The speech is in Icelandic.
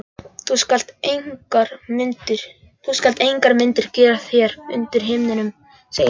Þú skalt engar myndir gera þér undir himninum, segir drottinn.